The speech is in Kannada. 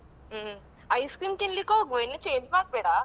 ಹ್ಮ್, ice-cream ತಿನ್ಲಿಕ್ಕ್ ಹೋಗ್ವಾ ಇನ್ನು change ಮಾಡ್ಬೇಡ.